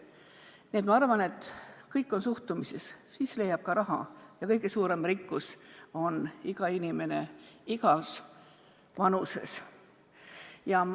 Nii et ma arvan, et kõik on seotud suhtumisega, siis leiab ka raha ja kõige suurem rikkus on iga inimene igas vanuses.